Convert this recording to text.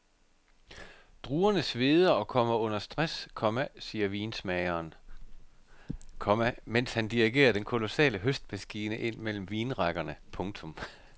Druerne sveder og kommer under stress, komma siger vinmageren, komma mens han dirigerer den kolossale høstmaskine ind mellem vinrækkerne. punktum